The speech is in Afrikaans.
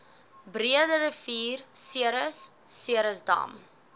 breederivier ceres ceresdam